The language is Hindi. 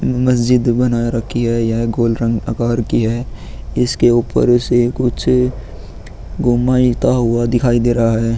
मस्जिद बना रखी है । यह गोल रंग आकार की है। इसके ऊपर इसे कुछ गुमा इता हुआ दिखाई दे रहा है ।